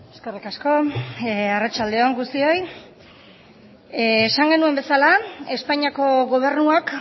eskerrik asko arratsalde on guztioi esan genuen bezala espainiako gobernuak